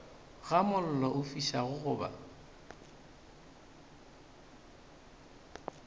ga mollo o fišago goba